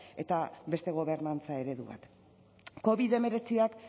eta beste gobernantza eredu bat covid hemeretzik